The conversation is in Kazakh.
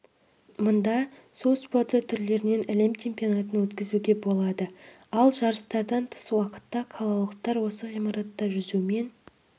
мұнда су спорты түрлерінен әлем чемпионатын өткізуге болады ал жарыстардан тыс уақытта қалалықтар осы ғимаратта жүзумен